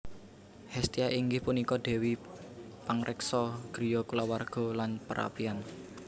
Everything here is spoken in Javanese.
Hestia inggih punika dèwi pangreksa griya kulawarga lan perapian